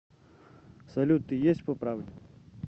салют ты есть по правде